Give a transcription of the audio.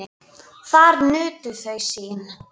Þar nutu þau sín.